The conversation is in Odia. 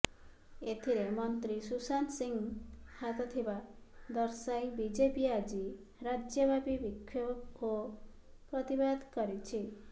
ଏଥିରେ ମନ୍ତ୍ରୀ ସୁଶାନ୍ତ ସିଂଙ୍କ ହାତଥିବା ଦର୍ଶାଇ ବିଜେପି ଆଜି ରାଜ୍ୟବ୍ୟାପୀ ବିକ୍ଷୋଭ ଓ ପ୍ରତିବାଦ କରିଛି